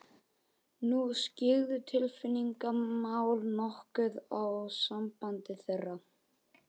Nú skyggðu tilfinningamál nokkuð á samband þeirra.